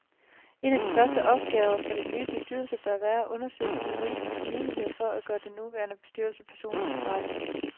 En af de første opgaver for denne nye bestyrelse bør være at undersøge de juridiske muligheder for at gøre den nuværende bestyrelse personligt ansvarlige.